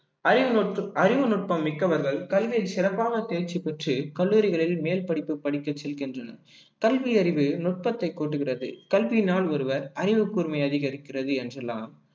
அறிவுநுட்ப~ அறிவுநுட்பம் மிக்கவர்கள் கல்வியை சிறப்பான தேர்ச்சி பெற்று கல்லூரிகளில் மேல் படிப்பு படிக்க செல்கின்றனர் கல்வியறிவு நுட்பத்தை கூட்டுகிறது கல்வியினால் ஒருவர் அறிவுக்கூர்மை அதிகரிக்கிறது என்றெல்லாம்